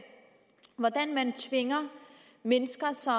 hvor man tvinger mennesker som